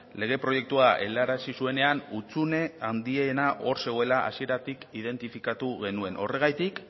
lege proiektua helarazi zuenean hutsune handiena hor zegoela hasieratik identifikatu genuen horregatik